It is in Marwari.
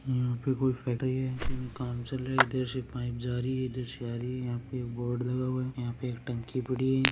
यंहा पे कोई फैक्ट्री है जहाँ पे काम चल रहा है इधर से पाइप जा रही है इधर से आ रही है यह पे एक बोर्ड लगा हुआ है इधर एक टंकी पड़ी है।